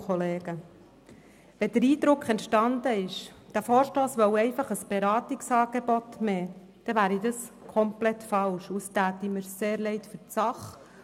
Wenn der Eindruck entstanden ist, dieser Vorstoss wolle einfach ein zusätzliches Beratungsangebot schaffen, wäre das komplett falsch, und es täte mir sehr leid für die Sache.